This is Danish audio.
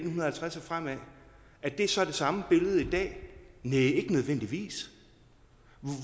nitten halvtreds og fremad er det så det samme billede i dag næh ikke nødvendigvis